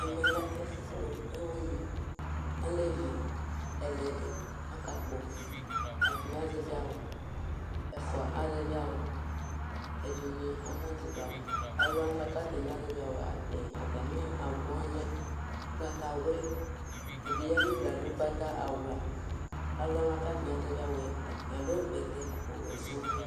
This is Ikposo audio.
Ɛmɛ lɛ ɛfu kpɔ ɛwugn Alɛ ɛlɛɖi aka kpɔ Ɛɖini azɛʋi awu, ɛfua azɛʋi awu, ɛdini ana zɛvi awu Aluwani buaku atani na zɛʋi awu, atɛ, atami awu waní alɛ ugbatawli Ɛɖi ya nu uɖu yɛ aɖu ugbatawlã Aluwani buaku atani azɛʋi awu yɛ, atani aɖu bɛtɛ ɔwɛ sɔŋ